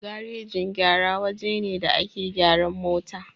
Garajin gyara waje ne da ake gyaran mota